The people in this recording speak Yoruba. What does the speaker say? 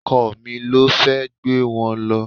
Ọkọ mi ló fẹ́ gbé wọn lọ